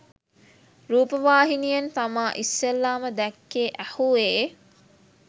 රූපවාහිනියෙන් තමා ඉස්සෙල්ලාම දැක්කේ ඇහුවේ